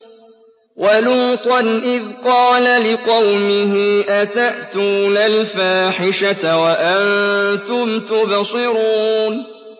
وَلُوطًا إِذْ قَالَ لِقَوْمِهِ أَتَأْتُونَ الْفَاحِشَةَ وَأَنتُمْ تُبْصِرُونَ